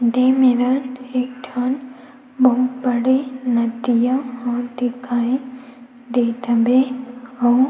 दे मेरन एक ठन बहुत बड़े नदिया ह दिखाई देत हवे आऊ--